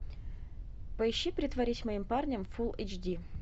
поищи притворись моим парнем фул эйч ди